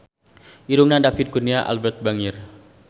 Irungna David Kurnia Albert bangir